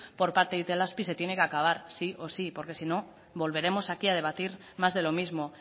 por parte de itelazpi se tiene que acabar sí o sí porque si no volveremos aquí a debatir más de lo mismo